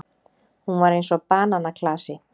Hún var eins og bananaklasi.